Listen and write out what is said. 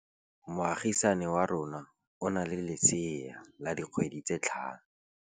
Moagisane wa rona o na le lesea la dikgwedi tse tlhano.